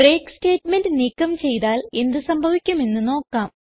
break statement നീക്കം ചെയ്താൽ എന്ത് സംഭവിക്കും എന്ന് നോക്കാം